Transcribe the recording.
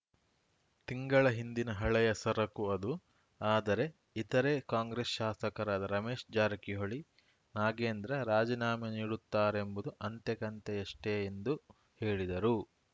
ತಿಂಗಳ ಹಿಂದಿನ ಹಳೆಯ ಸರಕು ಅದು ಆದರೆ ಇತರೆ ಕಾಂಗ್ರೆಸ್‌ ಶಾಸಕರಾದ ರಮೇಶ್‌ ಜಾರಕಿಹೊಳಿ ನಾಗೇಂದ್ರ ರಾಜೀನಾಮೆ ನೀಡುತ್ತಾರೆಂಬುದು ಅಂತೆಕಂತೆಯಷ್ಟೆಎಂದು ಹೇಳಿದರು